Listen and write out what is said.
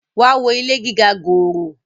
wá wo ilé gíga gòòrò!